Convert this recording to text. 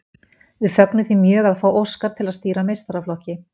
Við fögnum því mjög að fá Óskar til að stýra meistaraflokki.